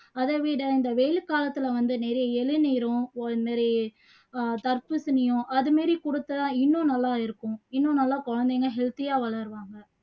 அதை விட இந்த வெயில் காலத்துல வந்து நிறைய இளநீரும் ஒரு மாதிரி தர்பூசணியும் அது மாதிரி கொடுத்தா இன்னும் நல்லா இருக்கும் இன்னும் நல்லா குழந்தைங்க healthy ஆ வளருவாங்க